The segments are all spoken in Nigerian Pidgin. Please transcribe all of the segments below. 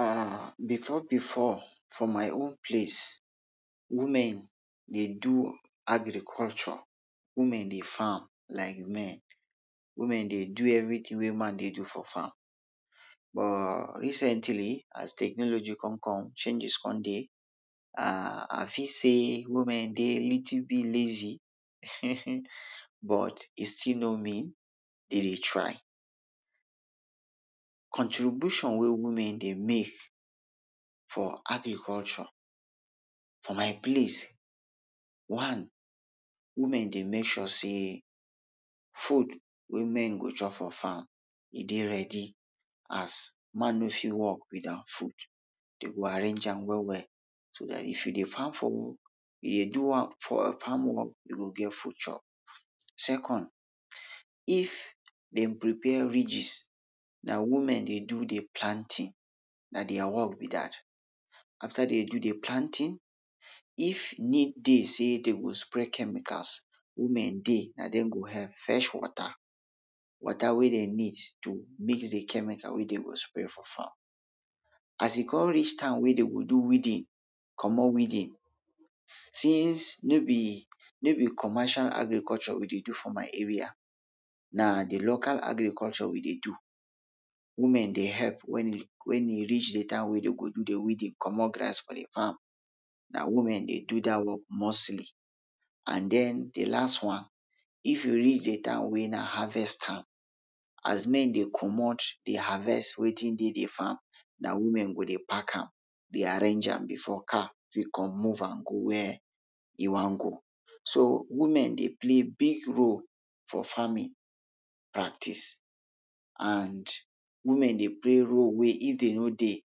um before before for my own place, women dey do agriculture, women dey farm like men, women dey do everytin wey man dey do for farm, but recently, as technology kon come, changes come dey, um I feel sey women dey a little bit lazy, but e still no mean, de dey try. Contribution wey women dey make for agriculture for my place, one; women dey make sure sey food wey men go chop for farm e dey ready as man no fit work without food. Dem go arrange am well well so dat if you dey farm for work, you dey do am for farm work, you go get food chop. Second, if dey prepare ridges, na women dey do the planting, na dia work be dat. After den do dey planting, if need dey sey dey go spray chemicals, women dey na dem go help fetch water, water wey den need to mix de chemical wey den go spray for farm. As e kon reach time wey den go do weeding, comot weeding, since no be, no be commercial agriculture we dey do for my area, na de local agriculture we dey do. Women dey help wen e wen e reach dey time wey den go do dey weeding comot grass for de farm, na women dey do dat one mostly. And den, de last one, if e reach de time wey na harvest time, as men dey comot, dey harvest wetin dey de farm, na women go dey pack am, dey arrange am before car fit come move am go wia e wan go. So woman dey play big role for farming practice, and women dey play role wey if de no dey,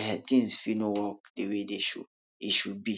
um tins fit no work de way it should, it should be.